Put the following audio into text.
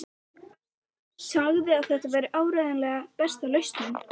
Sagði að þetta væri áreiðanlega besta lausnin.